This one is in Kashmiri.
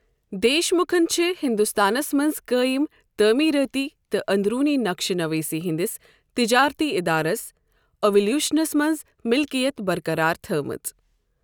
دیش مُکھن چھےٚ ہِنٛدُستانس منٛز قٲیِم تٲمیٖرٲتی تہٕ أنٛدروٗنی نقشہٕ نٔویٖسی ہِنٛدِس تِجٲرتی اِدارس، ایٚوِلیٛوٗشنَس منٛز مِلکِیت برقَرار تھٲومٕژ۔